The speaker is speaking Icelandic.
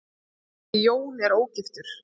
Því er Jón ógiftur.